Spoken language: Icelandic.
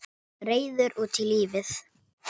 Reiður út í lífið.